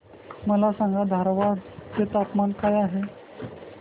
मला सांगा धारवाड चे तापमान काय आहे